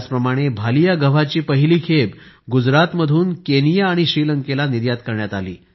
त्याचप्रमाणे भालीया गव्हाची पहिली खेप गुजरातमधून केनिया आणि श्रीलंकेला निर्यात करण्यात आली